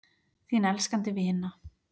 Þín elskandi vina